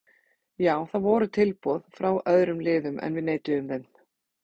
Já það voru tilboð frá örðum liðum en við neituðum þeim.